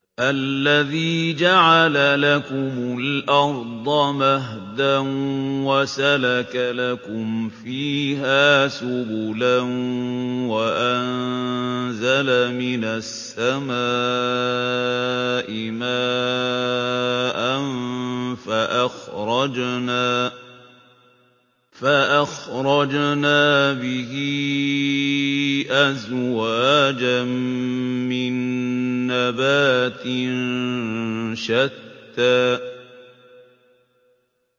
الَّذِي جَعَلَ لَكُمُ الْأَرْضَ مَهْدًا وَسَلَكَ لَكُمْ فِيهَا سُبُلًا وَأَنزَلَ مِنَ السَّمَاءِ مَاءً فَأَخْرَجْنَا بِهِ أَزْوَاجًا مِّن نَّبَاتٍ شَتَّىٰ